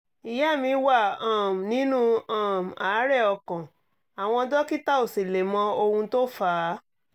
ìyá mi wà um nínú um àárẹ̀ ọkàn àwọn dókítà ò sì lè mọ ohun tó fà á